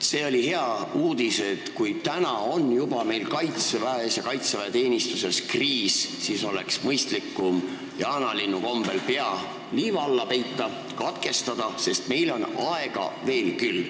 See oli hea uudis, et kui juba täna on meil kaitseväes ja kaitseväeteenistuses kriis, siis oleks mõistlikum jaanalinnu kombel pea liiva alla peita ning lugemine katkestada, sest meil on aega veel küll.